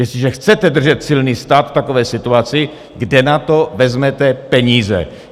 Jestliže chcete držet silný stát v takové situaci, kde na to vezmete peníze?